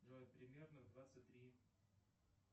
джой примерно в двадцать три